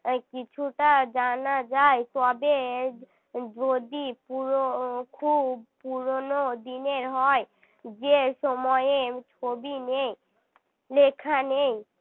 কিছুটা জানা যায় তবে যদি পুরো খুব পুরোনো দিনের হয় যে সময়ে ছবি নেই লেখা নেই